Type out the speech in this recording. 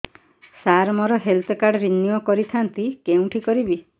ସାର ମୋର health card renew କରିଥାନ୍ତି କେଉଁଠି କରିବି